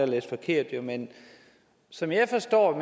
læst forkert men som jeg forstår